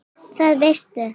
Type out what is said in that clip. Það veistu